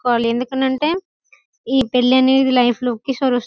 వాళ్లు ఎందుకనంటే ఈ పెళ్లి అనేది లైఫ్ లో ఒకే సారి --